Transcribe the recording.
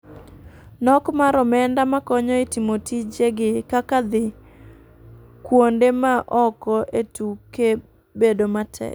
Nok mar omenda makonyo e timo tije gi kaka dhui kuonde ma oko e tuke bedo matek.